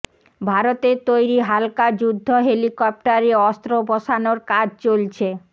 ভারতের তৈরি হালকা যুদ্ধ হেলিকপ্টারে অস্ত্র বসানোর কাজ চলছে